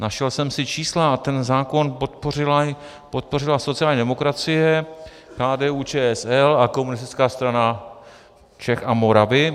Našel jsem si čísla a ten zákon podpořila sociální demokracie, KDU-ČSL a Komunistická strana Čech a Moravy.